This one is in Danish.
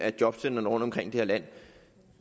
og jobcentrene rundtomkring i det her land